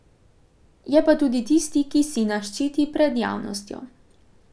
Je pa tudi tisti, ki sina ščiti pred javnostjo.